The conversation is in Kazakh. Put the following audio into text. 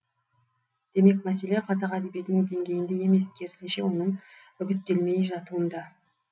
демек мәселе қазақ әдебиетінің деңгейінде емес керісінше оның үгіттелмей жатуында